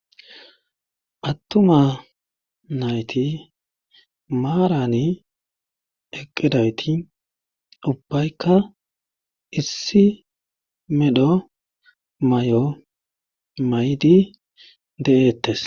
Attuma nayti maarani eqqidawti ubbaykka issi medho may'o maydi de'eettes.